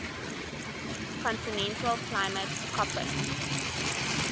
continental climate koppen